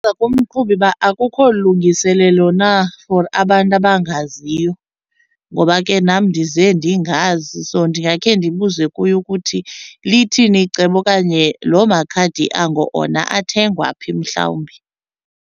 kumqhubi uba akukho lungiselelo na for abantu abangaziyo ngoba ke nam ndize ndingazi. So ndingakhe ndibuze kuye ukuthi lithini icebo okanye loo makhadi ango ona athengwa phi mhlawumbi.